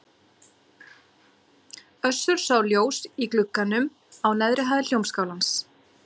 Össur sá ljós í glugganum á neðri hæð Hljómskálans.